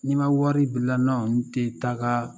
N'i ma wari bila n' tɛ taaga